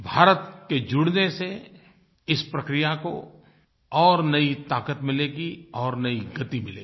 भारत के जुड़ने से इस प्रक्रिया को और नई ताक़त मिलेगी और नई गति मिलेगी